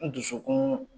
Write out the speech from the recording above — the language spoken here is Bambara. N dusukun